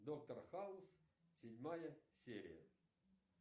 доктор хаус седьмая серия